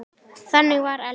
Þannig var Elli.